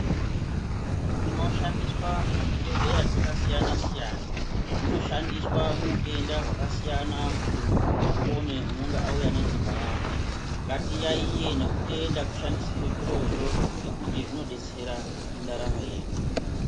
Zvinoshandiswa muzvibhedhleya zvakasiyana-siyana, zvinoshandiswa muutenda hakasiyana kuti muntu apone unenge auya nenhenda yake. Ngatiyaiye nekutenda kushandisirwe zvirozvo nekuti zvinobetsera mundaramo yedu.